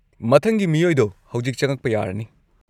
ꯃꯊꯪꯒꯤ ꯃꯤꯑꯣꯏꯗꯣ ꯍꯧꯖꯤꯛ ꯆꯪꯉꯛꯄ ꯌꯥꯔꯅꯤ!